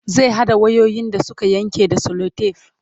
zai haɗa wayoyin da Suka Yanke da selotef